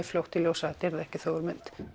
fljótt í ljós að þetta yrði ekki þögul mynd